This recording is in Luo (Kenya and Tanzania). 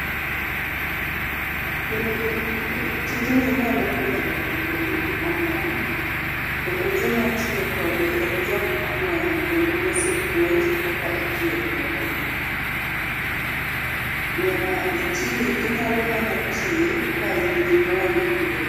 En gi, tijni inyalo puonjo ngato tomiyi omuom kendo joma tiyo kode en jokma olony kendo mosepuonj kaka itiyo kode. Nyaka itii, inyalo mana tiye kain gi lony ewi